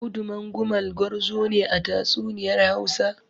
Audu Mangumal gwarzo ne a tatsuniyar Hausa.